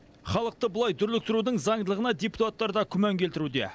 халықты бұлай дүрліктірудің заңдылығына депутаттар да күмән келтіруде